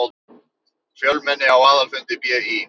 Fjölmenni á aðalfundi BÍ